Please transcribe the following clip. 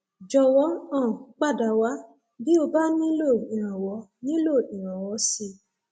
jọwọ um pada wá bí o bá nílò ìrànwọ nílò ìrànwọ sí i